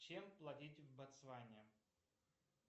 чем платить в ботсване